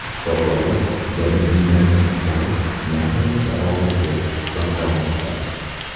Shifokorlar jabrdiydaning ahvoli nihoyatda og‘ir deb baholamoqda.